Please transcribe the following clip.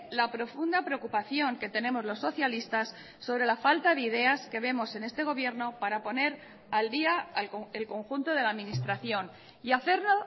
la profunda preocupación que tenemos los socialistas sobre la falta de ideas que vemos en este gobierno para poner al día el conjunto de la administración y hacerlo